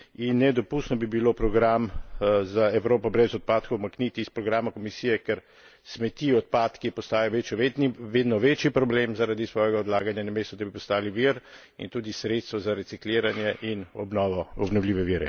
In nedopustno bi bilo program za Evropo brez odpadkov umakniti s programa Komisije, ker smeti, odpadki postajajo vedno večji problem zaradi svojega odlaganja, namesto da bi postali vir in tudi sredstvo za recikliranje in obnovljive vire.